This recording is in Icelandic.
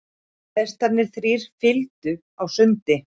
Hestarnir þrír fylgdu á sundi.